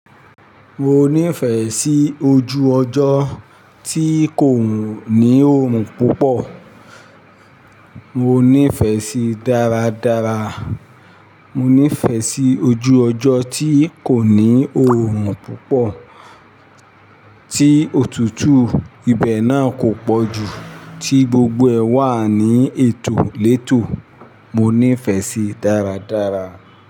Mo nífẹ̀ẹ́ sí ojú ọjọ́ tí kò ní òòrùn púpọ̀, mo nífẹ̀ẹ́ sí dáradára. Mo nífẹ̀ẹ́ sí ojú ọjọ́ tí kò ní òòrùn púpọ̀, tí òtútù ibẹ̀ náà kò pọ̀ jù, tí gbogbo ẹ wà ní ètò létò, mo nífẹ̀ẹ́ sí dáradára.